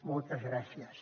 moltes gràcies